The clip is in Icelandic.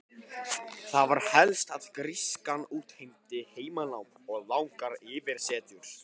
Það var helst að grískan útheimti heimanám og langar yfirsetur.